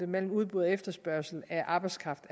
mellem udbud og efterspørgsel af arbejdskraft